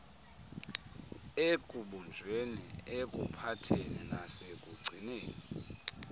ekubunjweni ekuphatheni nasekugcineni